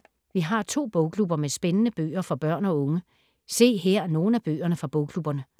Vi har to bogklubber med spændende bøger for børn og unge. Se her nogle af bøgerne fra bogklubberne.